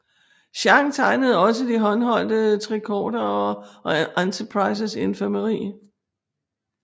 Chang tegnede også de håndholdte tricordere og Enterprises infirmeri